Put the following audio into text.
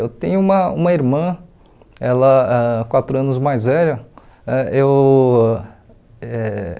Eu tenho uma uma irmã, ela ãh quatro anos mais velha. Ãh eu eh